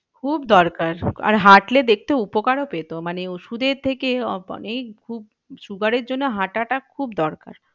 খুব দরকার আর হাঁটলে দেখতো উপকারও পেত মানে ওষুধের থেকে অনেক খুব সুগারের জন্য হাঁটাটা খুব দরকার।